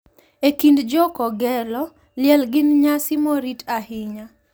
E kind Jo Kogelo, liel gin nyasi morit ahinya .